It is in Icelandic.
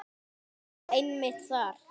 Jú, einmitt þar.